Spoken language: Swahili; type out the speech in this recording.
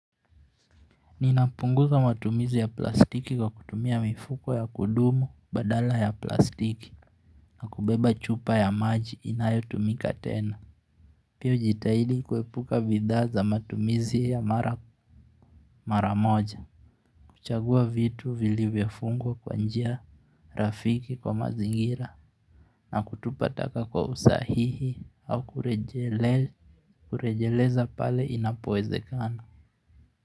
Ninapunguza matumizi ya plastiki kwa kutumia mifuko ya kudumu badala ya plastiki na kubeba chupa ya maji inayotumika tena. Pia hujitahidi kuepuka bidhaa za matumizi ya mara moja. Kuchagua vitu vilivyofungwa kwa njia rafiki kwa mazingira na kutupa taka kwa usahihi au kurejeleza pale inapowezekana.